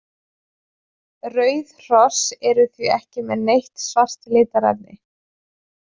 Rauð hross eru því ekki með neitt svart litarefni.